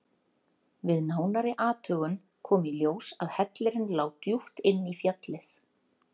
Við nánari athugun kom í ljós að hellirinn lá djúpt inn í fjallið.